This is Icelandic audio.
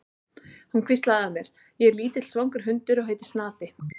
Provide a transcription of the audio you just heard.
Hún hvíslaði að mér: Ég er lítill svangur hundur og heiti Snati.